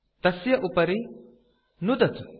तस्य उपरि नुदतु